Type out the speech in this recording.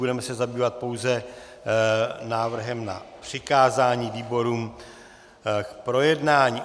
Budeme se zabývat pouze návrhem na přikázání výborům k projednání.